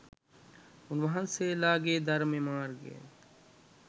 උන්වහන්සේලාගේ ධර්ම මාර්ගය